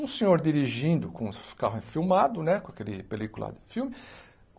Um senhor dirigindo, com os o carro enfilmado, né, com aquele película filme.